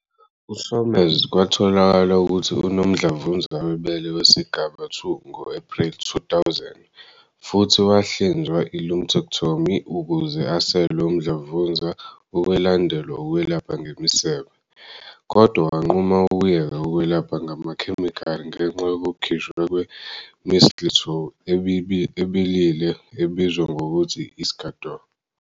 U-Somers kwatholakala ukuthi unomdlavuza webele wesigaba II ngo-Ephreli 2000, futhi wahlinzwa i- lumpectomy ukuze asuse umdlavuza okwalandelwa ukwelapha ngemisebe, kodwa wanquma ukuyeka ukwelapha ngamakhemikhali ngenxa yokukhishwa kwe-mistletoe ebilile ebizwa ngokuthi i-Iscador.